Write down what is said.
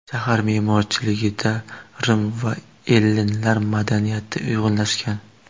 Shahar me’morchiligida Rim va ellinlar madaniyati uyg‘unlashgan.